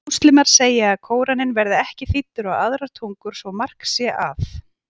Múslímar segja að Kóraninn verði ekki þýddur á aðrar tungur svo mark sé að.